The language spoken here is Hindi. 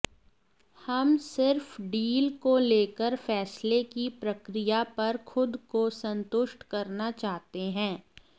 हम सिर्फ डील को लेकर फैसले की प्रक्रिया पर खुद को संतुष्ट करना चाहते हैं